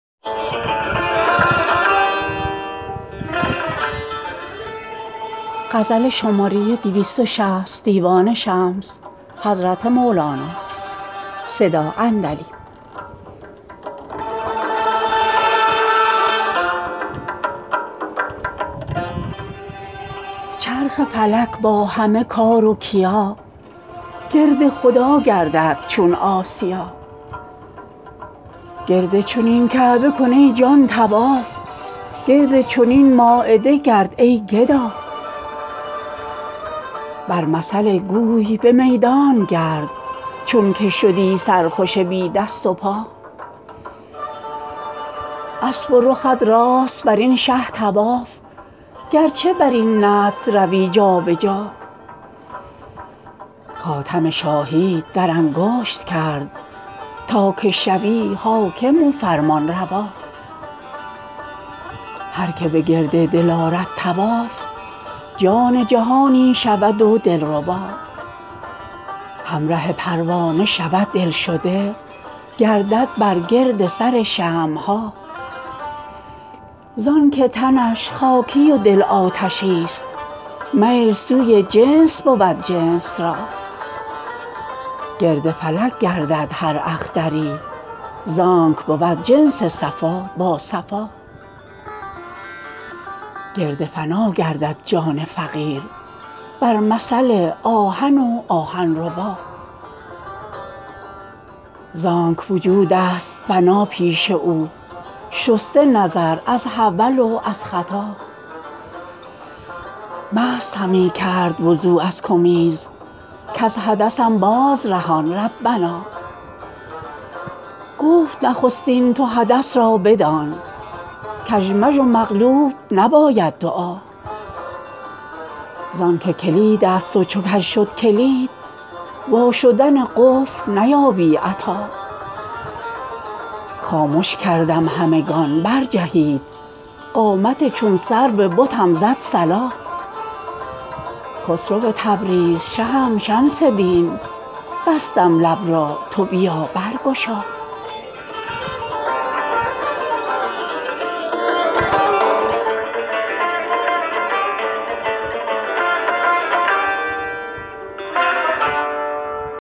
چرخ فلک با همه کار و کیا گرد خدا گردد چون آسیا گرد چنین کعبه کن ای جان طواف گرد چنین مایده گرد ای گدا بر مثل گوی به میدانش گرد چونک شدی سرخوش بی دست و پا اسب و رخت راست بر این شه طواف گرچه بر این نطع روی جا به جا خاتم شاهی ت در انگشت کرد تا که شوی حاکم و فرمانروا هر که به گرد دل آرد طواف جان جهانی شود و دلربا همره پروانه شود دل شده گردد بر گرد سر شمع ها زانک تنش خاکی و دل آتشی ست میل سوی جنس بود جنس را گرد فلک گردد هر اختری زانک بود جنس صفا با صفا گرد فنا گردد جان فقیر بر مثل آهن و آهن ربا زانک وجود ست فنا پیش او شسته نظر از حول و از خطا مست همی کرد وضو از کمیز کز حدثم بازرهان ربنا گفت نخستین تو حدث را بدان کژمژ و مقلوب نباید دعا زانک کلید ست و چو کژ شد کلید وا شدن قفل نیابی عطا خامش کردم همگان برجهید قامت چون سرو بتم زد صلا خسرو تبریز شهم شمس دین بستم لب را تو بیا برگشا